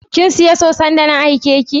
kinsiya soson da na aike ki?